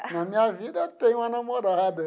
Na minha vida eu tenho uma namorada.